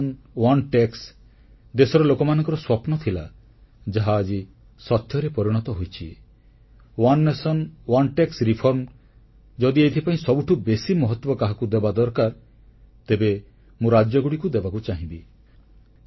ଏକ ରାଷ୍ଟ୍ର ଏକ ଟିକସ ଦେଶର ଲୋକମାନଙ୍କର ସ୍ୱପ୍ନ ଥିଲା ଯାହା ଆଜି ସତ୍ୟରେ ପରିଣତ ହୋଇଛି ଏକ ରାଷ୍ଟ୍ର ଏକ ଟିକସ ଯଦି ଏଥିପାଇଁ ସବୁଠୁଁ ବେଶୀ ମହତ୍ୱ କାହାକୁ ଦେବା ଦରକାର ତେବେ ମୁଁ ରାଜ୍ୟଗୁଡ଼ିକୁ ଦେବାକୁ ଚାହିଁବି